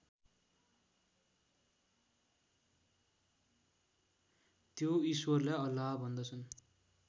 त्यो ईश्वरलाई अल्लाह भन्दछन्